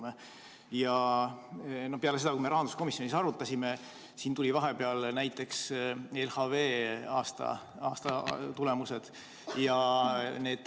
Peale seda, kui me rahanduskomisjonis arutasime, tulid vahepeal välja näiteks LHV aasta tulemused.